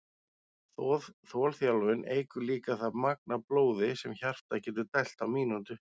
Þolþjálfun eykur líka það magn af blóði sem hjartað getur dælt á mínútu.